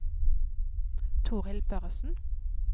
Torhild Børresen